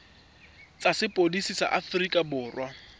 tsa sepodisi sa aforika borwa